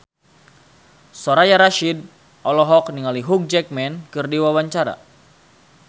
Soraya Rasyid olohok ningali Hugh Jackman keur diwawancara